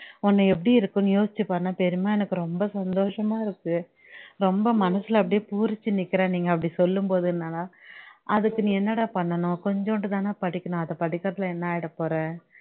உன்ன எப்படி இருக்கும்னு யோசிச்சு பாருன்னா பெரியம்மா எனக்கு ரொம்ப சந்தோஷமா இருக்கு ரொம்ப மசுலே பூரிச்சு நிக்கிறேன் நீங்க அப்படி சொல்லும்போதுன்னாலா அதுக்கு நீ என்னடா பண்ணனும் கொஞ்சோண்டு தானே படிக்கனும் அத படிக்கிறதுல என்ன ஆகிடபோற